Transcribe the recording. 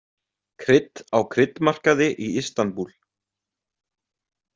Krydd á kryddmarkaði í Istanbúl.